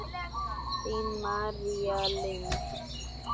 Þín, María Lind.